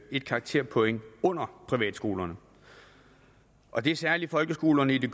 et karakterpoint under privatskolernes og det er særlig folkeskolerne